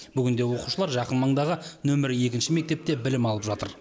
бүгінде оқушылар жақын маңдағы нөмірі екінші мектепте білім алып жатыр